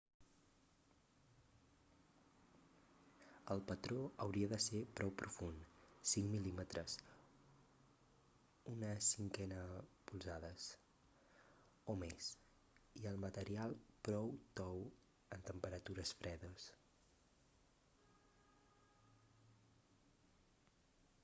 el patró hauria de ser prou profund 5 mm 1/5 polzades o més i el material prou tou en temperatures fredes